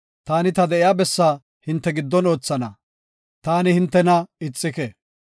Taani ta de7iya bessaa hinte giddon oothana; taani hintena ixike.